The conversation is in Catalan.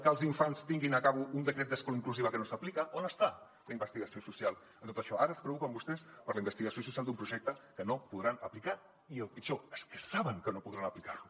que els infants tinguin acabo un decret d’escola inclusiva que no s’aplica on està la investigació social en tot això ara es preocupen vostès per la investigació social d’un projecte que no podran aplicar i el pitjor és que sabenaplicar lo